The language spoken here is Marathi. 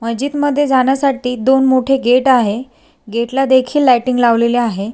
मस्जिदमध्ये जाण्यासाठी दोन मोठे गेट आहे गेटला देखील लायटिंग लावलेल्या आहे.